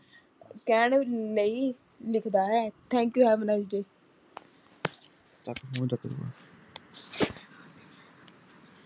ਕਹਿਣ ਲਈ ਲ਼ਿਖਦਾ ਹੈ Thanku have a nice day